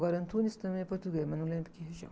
Agora, Antunes também é português, mas não lembro que região.